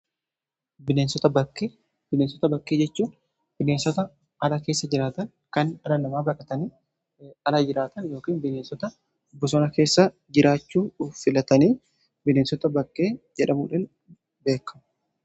bineensota bakkee jechuun bineensota ala keessa jiraata kan dhala namaa baqatanii ala jiraatan yookiin bineensota bosona keessa jiraachuu filatanii bineensota bakkee jedhamuudhan beekamu.